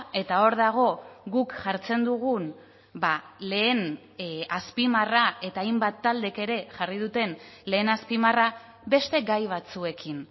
eta hor dago guk jartzen dugun lehen azpimarra eta hainbat taldek ere jarri duten lehen azpimarra beste gai batzuekin